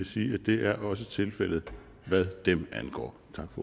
sige at det også er tilfældet hvad dem angår tak